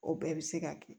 O bɛɛ bɛ se ka kɛ